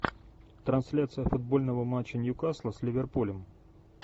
трансляция футбольного матча ньюкасла с ливерпулем